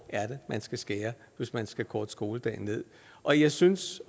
er man skal skære hvis man skal korte skoledagen ned og jeg synes